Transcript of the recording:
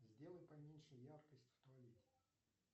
сделай поменьше яркость в туалете